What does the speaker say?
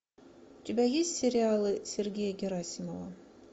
у тебя есть сериалы сергея герасимова